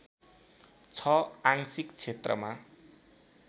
छ आंशिक क्षेत्रमा